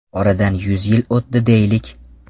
Oradan yuz yil o‘tdi deylik.